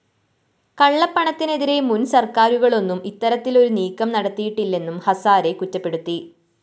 കള്ളപ്പണത്തിനെതിരെ മുന്‍ സര്‍ക്കാരുകളൊന്നും ഇത്തരത്തിലൊരു നീക്കം നടത്തിയിട്ടില്ലെന്നും ഹസാരെ കുറ്റപ്പെടുത്തി